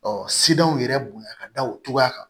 sidanw yɛrɛ bonya ka da o cogoya kan